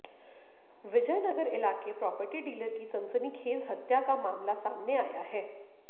विजय नगर इलाके property dealer की सनसनीखेज हत्या का मामला सामने आया है